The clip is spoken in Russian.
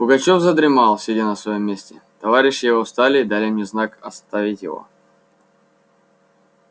пугачёв задремал сидя на своём месте товарищи его встали и дали мне знак оставить его